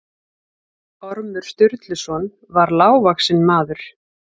Ormur Sturluson var lágvaxinn maður.